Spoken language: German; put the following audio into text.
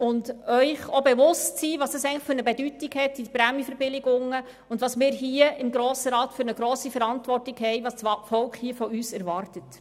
Seien Sie sich bewusst, welche Bedeutung die Prämienverbilligungen haben, welche Verantwortung wir im Grossen Rat tragen, und was das Volk von uns erwartet.